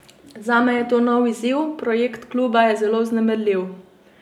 Zame je to nov izziv, projekt kluba je zelo vznemirljiv.